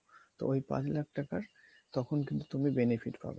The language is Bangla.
তো ওই পাঁচ লাখ টাকার তখন কিন্তু তুমি benefit পাবা